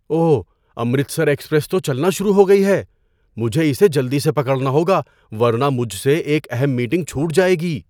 اوہ! Amritsar express تو چلنا شروع ہو گئی ہے۔ مجھے اسے جلدی سے پکڑنا ہوگا ورنہ مجھ سے ایک اہم میٹنگ چھوٹ جائے گی!